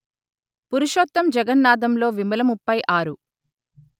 పురుషోత్తం జగన్నాధంలో విమలముప్పై ఆరు